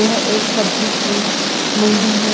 यह एक सब्जी की मंडी है।